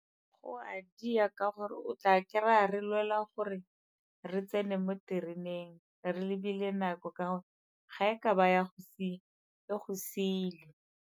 Go a di ya ka gore o tla kry-a re lwela gore re tsene mo tereneng re lebile nako ka gore ga e ka ba ya go sia, e go siile.